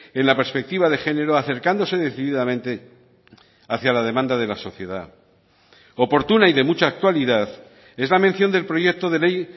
en la perspectiva de género acercándose decididamente hacía la demanda de la sociedad oportuna y de mucha actualidad es la mención del proyecto de ley